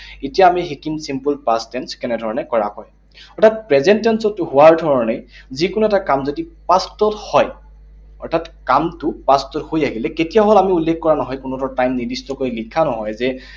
এতিয়া আমি শিকিম simple past tense কেনেধৰণে কৰা হয়। অৰ্থাৎ present tense তো হোৱাৰ ধৰণে যিকোনো এটা কাম যদি past ত হয়, অৰ্থাৎ কামটো past ত হৈ আহিলে। কেতিয়া হল আমি উল্লেখ কৰা নহয়। কোনো ধৰণৰ time নিৰ্দিষ্টকৈ লিখা নহয় যে